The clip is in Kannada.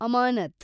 ಅಮಾನತ್